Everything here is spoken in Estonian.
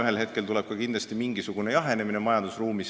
Ühel hetkel tuleb ka kindlasti mingisugune jahenemine majandusruumis.